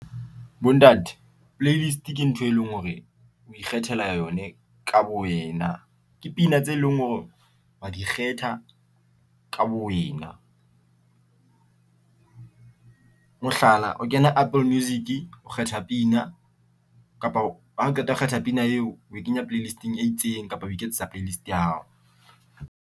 Bontate playlist ke ntho e leng hore o ikgethela yone ka bo wena ke pina tse leng hore re di kgetha ka bo wena. Mohlala o kena Apple Music o kgetha pina kapa ha qeta ho kgetha pina eo o e kenya playlist-ing e itseng kapa o iketsetsa playlist ya hao.